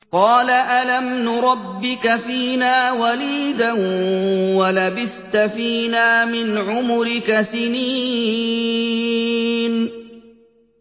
قَالَ أَلَمْ نُرَبِّكَ فِينَا وَلِيدًا وَلَبِثْتَ فِينَا مِنْ عُمُرِكَ سِنِينَ